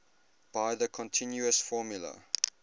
by the continuous formula